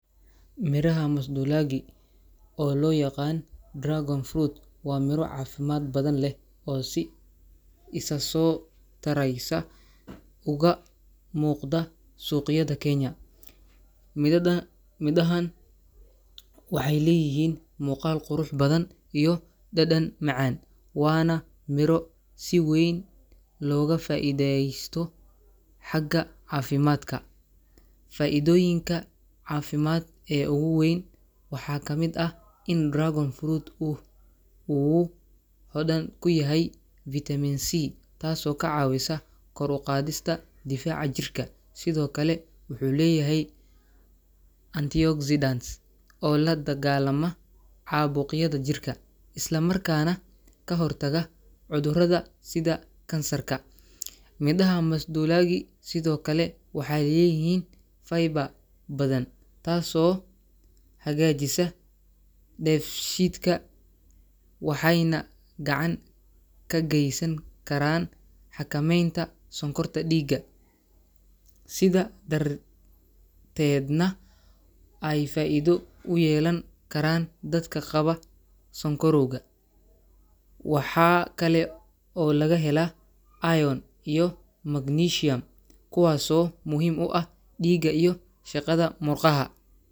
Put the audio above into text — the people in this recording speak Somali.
Miraha masidulagi oo lo yaqan dragon fruit waa cafimaad badan leh si isaso tareysa uga muqta suqyaada kenya mirahan waxee leyihin muqal qurux badan iyo dadan macan wana miro si weyn loga faidhesto xaga cafimaadka faidoyiinka cafimaad ee ogu weyn waxaa kamiid ah in dragon fruit ku u hodhan kuyahay vitamin C tas oo ka cawisa kor uqadhista difaca jirka sithokale wuxuu leyahay unti oxidase oo ladagalama cabuqyaada jirka isla markana ka hortaga cudhurada sitha kansarka miraha misdulagi sithokale waxee leyihin fiber tas oo hagajisa def shidka waxena gacan ka gesan karan xakamenta sonkorta diga sithas darted nah waxee faidho uyelan karan dadka qawa sokoriwga, waxaa kale oo laga hela iron iyo magnesium taso muhiim u ah diga iyo shaqadha murqaha.